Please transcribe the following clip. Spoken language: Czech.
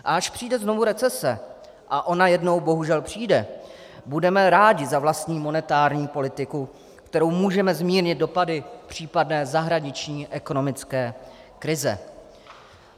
A až přijde znovu recese, a ona jednou bohužel přijde, budeme rádi za vlastní monetární politiku, kterou můžeme zmírnit dopady případné zahraniční ekonomické krize.